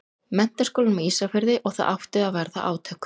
Menntaskólanum á Ísafirði og það áttu að verða átök.